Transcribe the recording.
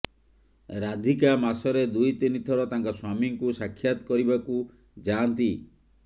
ରାଧିକା ମାସରେ ଦୁଇ ତିନିଥର ତାଙ୍କ ସ୍ୱାମୀଙ୍କୁ ସାକ୍ଷାତ କରିବାକୁ ଯାଆନ୍ତି